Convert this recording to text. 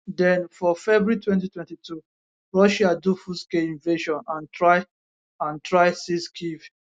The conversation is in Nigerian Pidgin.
den for february 2022 russia do fullscale invasion and try and try seize kyiv